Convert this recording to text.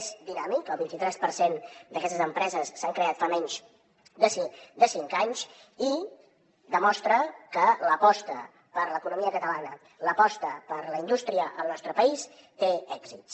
és dinàmic el vint i tres per cent d’aquestes empreses s’han creat fa menys de cinc anys i demostra que l’aposta per l’economia catalana l’aposta per la indústria al nostre país té èxits